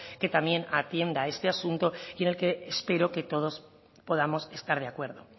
que también atienda este asunto y en el que espero que todos podamos estar de acuerdo